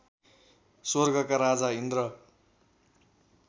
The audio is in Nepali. स्वर्गका राजा इन्द्र